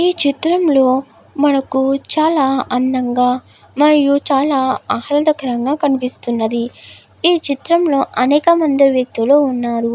ఈ చిత్రం లో మనకి చాల అందం గ చాల ఆహాలదకరం గ కనిపిస్తునది. ఈ చిత్రం లో అనేక మంది వేకుతుల్లు వున్నారు.